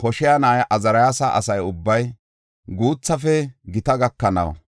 Hoshaya na7ay azariyaas asa ubbay, guuthafe gita gakanaw,